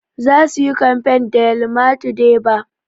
Za su yi kamfain a yamaltu deba